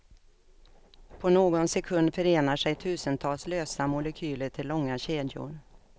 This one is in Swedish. På någon sekund förenar sig tusentals lösa molekyler till långa kedjor.